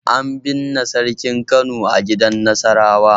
An binne sarkin Kano a gidan Nasarawa.